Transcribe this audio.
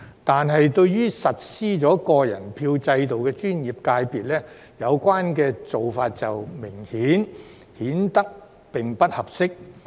但對於實施個人票制度的專業界別，有關做法明顯不合適。